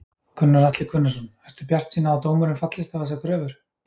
Gunnar Atli Gunnarsson: Ertu bjartsýn á að dómurinn fallist á þessar kröfur?